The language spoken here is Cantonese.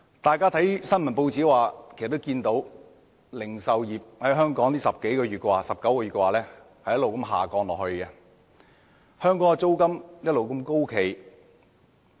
大家從報章的報道可得知，香港零售業總銷貨價值在近19個月連續下跌，租金卻一直高企。